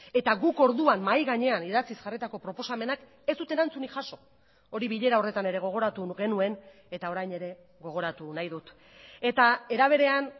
eta guk orduan mahai gainean idatziz jarritako proposamenak ez dute erantzunik jaso hori bilera horretan ere gogoratu genuen eta orain ere gogoratu nahi dut eta era berean